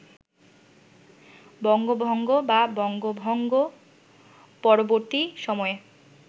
বঙ্গভঙ্গ বা বঙ্গভঙ্গ-পরবর্তী সময়ে